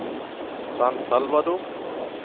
San Salvador